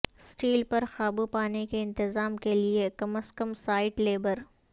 steel پر قابو پانے کے انتظام کے لئے کم از کم سائٹ لیبر